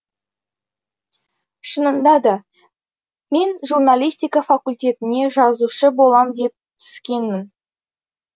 шынында да мен журналистика факультетіне жазушы болам деп түскенмін